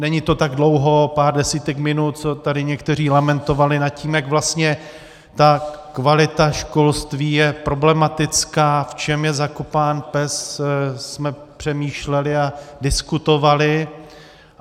Není to tak dlouho, pár desítek minut, co tady někteří lamentovali nad tím, jak vlastně ta kvalita školství je problematická, v čem je zakopán pes, jsme přemýšleli a diskutovali.